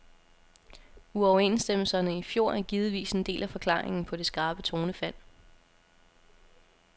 Uoverenstemmelserne i fjor er givetvis en del af forklaringen på det skarpe tonefald.